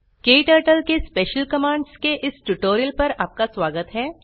क्टर्टल के special commands के इस ट्यूटोरियल पर आपका स्वागत हैं